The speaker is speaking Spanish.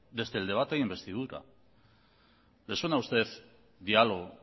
desde el debate de investidura le suena a usted diálogo